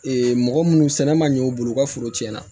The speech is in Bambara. mɔgɔ munnu sɛnɛ man ɲɛ u bolo u ka foro cɛn na